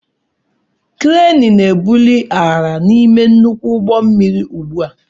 Kreenị na-ebuli arịa n'ime nnukwu ụgbọ mmiri ugbu a.